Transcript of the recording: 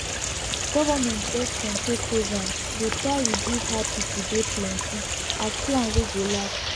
government borncontrol programs dey try reduce how people dey plenty as plan wey go last